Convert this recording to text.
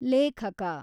ಲೇಖಕ